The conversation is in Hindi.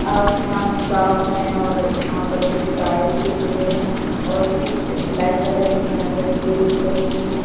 आसमान साफ है और यहां पर कुछ कायल के पेड़ हैं और कुछ ब्लैक कलर की यहां पर ग्रिल्स लगी हुई है।